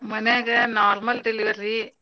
ಮನ್ಯಾಗ normal delivery.